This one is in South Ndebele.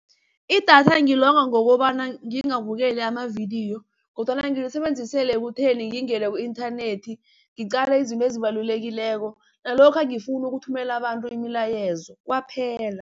Idatha ngilonga ngokobana ngingabukeli amavidiyo kodwana ngilisebenzisela ekutheni ngingena ku-inthanethi ngicale izinto ezibalulekileko, nalokha nangifuna ukuthumela abantu imilayezo kwaphela.